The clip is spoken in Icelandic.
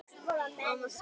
Koma svo.